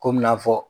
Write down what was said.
Komi n'a fɔ